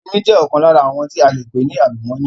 Omi jẹ ọkan lára àwọn tí ale pè ní àlùmọ́nì